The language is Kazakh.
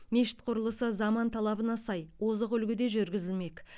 мешіт құрылысы заман талабына сай озық үлгіде жүргізілмек